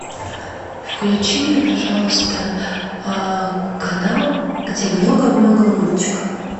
включи мне пожалуйста канал где много много мультиков